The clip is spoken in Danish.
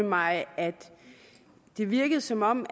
mig at det virkede som om